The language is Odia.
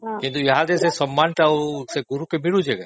କିନ୍ତୁ ଆଉ ସେ ସମ୍ମାନଟା ଗୁରୁକୁ ମିଳୁଛି କି